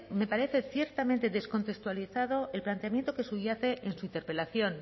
me parece ciertamente descontextualizado el planteamiento que subyace en su interpelación